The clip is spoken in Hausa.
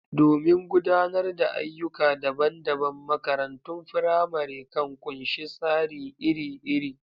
Domin gudanar da ayyuka dabam-dabam, makarantun firamare kan ƙunshi tsari iri-iri.